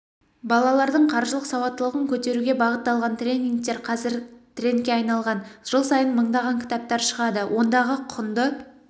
балалардың қаржылық сауаттылығын көтеруге бағытталған тренингтер қазір трендке айналған жыл сайын мыңдаған кітаптар шығады ондағы құнды